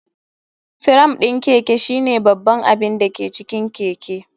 Firam ɗin Keke shine babban abin da ke cikin keke.